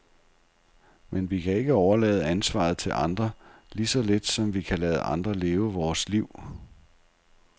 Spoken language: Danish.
Men vi kan ikke overlade ansvaret til andre, lige så lidt som vi kan lade andre leve vort liv.